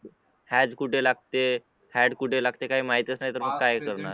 Has कुठे लागते had कुठे लागते काही माहीतच नाही तर मग काय करणार